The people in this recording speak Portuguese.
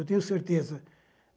Eu tenho certeza.